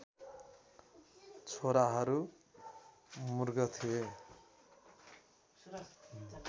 छोराहरू मूर्ख थिए